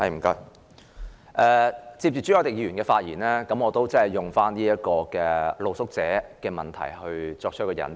承接朱凱廸議員的發言，我也談談露宿者問題，以作為引子。